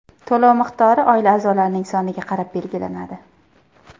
To‘lov miqdori oila a’zolarining soniga qarab belgilanadi.